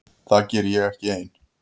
Það geri ég ekki ein.